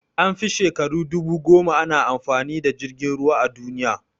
An fi shekaru dubu goma ana amfani da jirgin ruwa a duniya